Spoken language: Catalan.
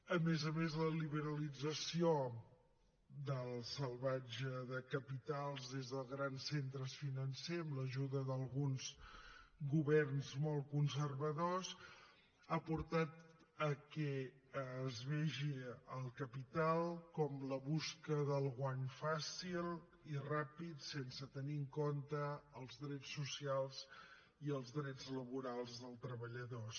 a més a més la liberalització salvatge de capitals des de grans centres financers amb l’ajuda d’alguns governs molt conservadors ha portat a que es vegi el capital com la cerca del guany fàcil i ràpid sense tenir en compte els drets socials i els drets laborals dels treballadors